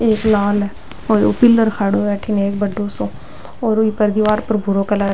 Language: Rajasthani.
एक लाल और एक पिलर खड़ो है बड़ो सो और ऊपर दिवार पर भूरो कलर --